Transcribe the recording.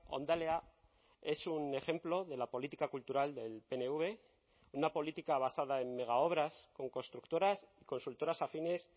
hondalea es un ejemplo de la política cultural del pnv una política basada en megaobras con constructoras consultoras afines